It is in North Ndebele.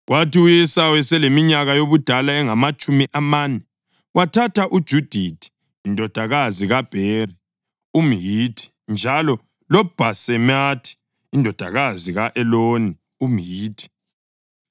Kwathi u-Esawu eseleminyaka yobudala engamatshumi amane, wathatha uJudithi indodakazi kaBheri umHithi njalo loBhasemathi indodakazi ka-Eloni umHithi.